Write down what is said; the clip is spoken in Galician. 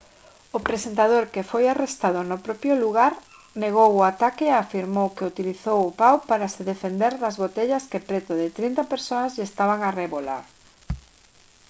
o presentador que foi arrestado no propio lugar negou o ataque e afirmou que utilizou o pao para se defender das botellas que preto de trinta persoas lle estaban a arrebolar